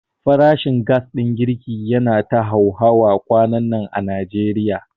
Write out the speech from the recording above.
Farashin gas ɗin girki yana ta hauhawa kwanannan a Najeriya.